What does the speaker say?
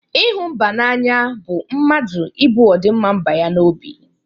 Ịhụ mba n'anya bụ mmadụ ibu ọdịmma mba ya n'obi.